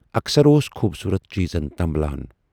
اکثر اوس خوٗبصوٗرت چیٖزن تنبلان۔